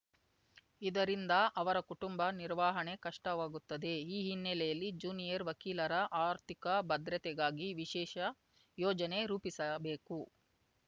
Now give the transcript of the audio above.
ಇದರಿಂದ ಅವರ ಕುಟುಂಬ ನಿರ್ವಹಣೆ ಕಷ್ಟವಾಗುತ್ತದೆ ಈ ಹಿನ್ನೆಲೆಯಲ್ಲಿ ಜ್ಯೂನಿಯರ್ ವಕೀಲರ ಆರ್ಥಿಕ ಭದ್ರತೆಗಾಗಿ ವಿಶೇಷ ಯೋಜನೆ ರೂಪಿಸಬೇಕು